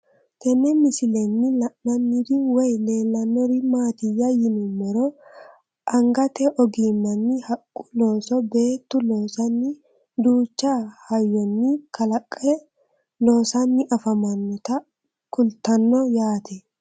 Tenne misilenni la'nanniri woy leellannori maattiya yinummoro angatte ogimmanni haqqu looso beettu loosanni duucha hayonni kalaqe loosanni affammannota kulittanno yaatte